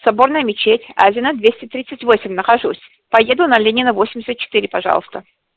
соборная мечеть азина двести тридцать восемь нахожусь поеду на ленина восемьдесят четыре пожалуйста